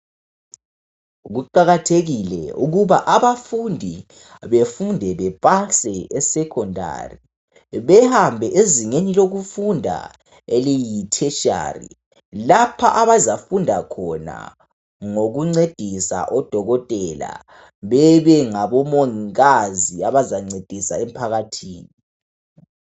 Kuqakathekile ukuba abafundi befunde bepase e Secondary behambe ezingeni lokufunda eliyi tertiary lapha abazafunda khona ngokuncedisa odokotela bebe ngabo mongikazi abazancedisa emphakathini